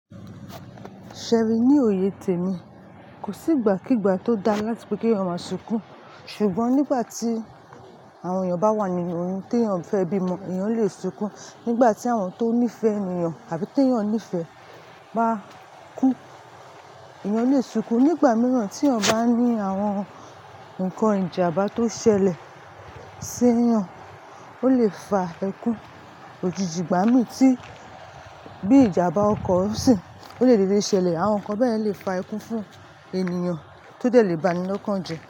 Ṣé ẹ rí ní òye tèmi. Kò sí ìgbà kígba tó dáa láti pé kí èèyàn máa sunkún. Ṣùgbọ́n nígbà tí àwọn èèyàn bá wà nínú oyún tí èèyàn fẹ́ bímọ, èèyàn lè sunkún. Nígbà tí àwọn tó nífẹ̀ẹ́ ènìyàn àbí tí èèyàn nífẹ̀ẹ́ bá kú, èèyàn lè sunkún. Nígbà mìíràn tí èèyàn bá ní àwọn nǹkan ìjàmbá tó ṣẹlẹ̀ sí èèyàn, ó lè fa ẹkún. Òjíjí ìgbà mí tí bí ìjàmbá ọkọ̀ ń ṣìn, ó lè dédé ṣẹlẹ̀. Àwọn nǹkan bẹ́yẹn lè fa ẹkún fún ènìyàn tó dẹ̀ lè ba ni lọ́kànjẹ́